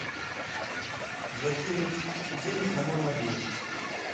закинуть денег на мой мобильный